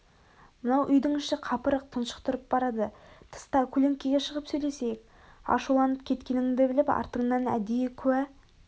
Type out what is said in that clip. мынау үйдің іші қапырық тұншықтырып барады тыста көлеңкеге шығып сөйлесейік ашуланып кеткенінді біліп артыңнан әдейі куә